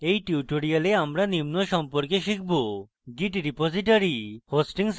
in tutorial আমরা নিম্ন সম্পর্কে শিখব: git repository hosting services